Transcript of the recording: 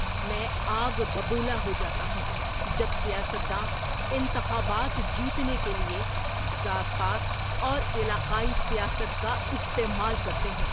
میں آگ ببولا ہو جاتا ہوں جب سیاست داں انتخابات جیتنے کے لیے ذات پات اور علاقائی سیاست کا استعمال کرتے ہیں۔